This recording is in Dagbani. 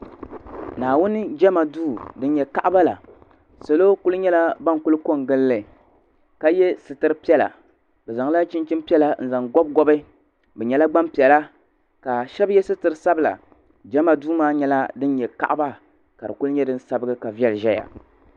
Naawuni jama duu din nyɛ kaɣaba la salo kuli nyɛla ban kuli ko n gili li ka yɛ sitira piɛla bi zaŋ la chinchin piɛla n zaŋ gɔbi gɔbi bi nyɛla gbanpiɛla ka shɛba yɛ sitira sabila jama duu maa nyɛla din nyɛ kaɣaba ka di kuli nyɛ din sabigi ka viɛlli ʒɛya.